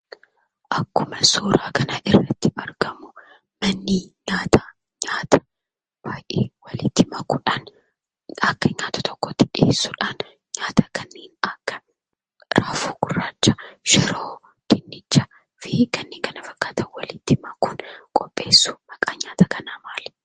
Akkuma suuraa kana irratti argamu, manni nyaataa nyaata baay'ee walitti makuudhaan akka nyaaata tokkootti dhiyeessuudhaan nyaata kanneen akka raafuu gurraacha, shiroo, dinnichaa fi kanneen kana fakkaatan walitti makuun qopheessu. Maqaan nyaata kanaa maali?